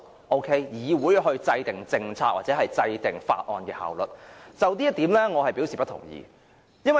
對於由議會制訂政策或提出法案以提升效率這點，我可不同意。